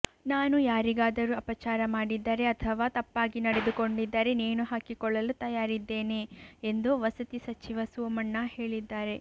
ನಾನು ಯಾರಿಗಾದರೂ ಅಪಚಾರ ಮಾಡಿದ್ದರೆ ಅಥವಾ ತಪ್ಪಾಗಿ ನಡೆದುಕೊಂಡಿದ್ದರೆ ನೇಣು ಹಾಕಿಕೊಳ್ಳಲು ತಯಾರಿದ್ದೇನೆ ೆಂದು ವಸತಿ ಸಚಿವ ಸೋಮಣ್ಣ ಹೇಳಿದ್ದಾರೆ